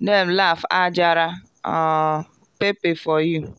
dem laugh add jara um pepper for you.